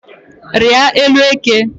Rịa élú eke